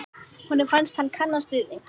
Honum fannst hann kannast við þig.